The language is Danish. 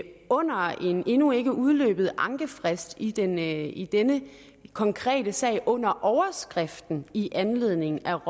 under en endnu ikke udløbet ankefrist i denne i denne konkrete sag under overskriften i anledning af